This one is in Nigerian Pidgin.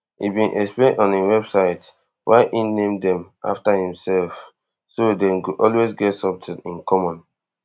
e bin explain on im website why e name dem afta imself so dem go always get somtin in common